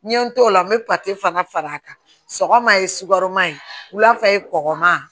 N ye n t'o la n bɛ fana far'a kan sɔgɔma ye sukaroma ye wulafɛman